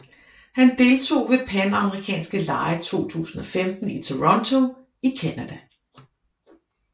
Han deltog ved Panamerikanske lege 2015 i Toronto i Canada